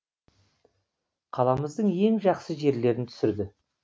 қаламыздың ең жақсы жерлерін түсірді